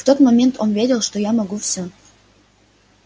в тот момент он верил что я могу всё